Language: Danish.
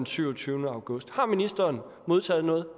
syvogtyvende august har ministeren modtaget noget